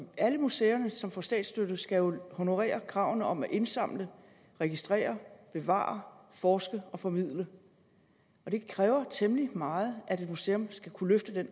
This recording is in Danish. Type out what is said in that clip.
alle museer som får statsstøtte skal jo honorere kravene om at indsamle registrere bevare forske og formidle og det kræver temmelig meget at et museum skal kunne løfte